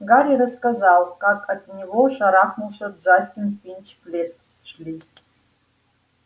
гарри рассказал как от него шарахнулся джастин финч флетчли